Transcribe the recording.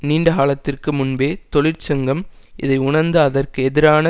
நீண்ட காலத்திற்கு முன்பே தொழிற்சங்கம் இதை உணர்ந்து அதற்கு எதிரான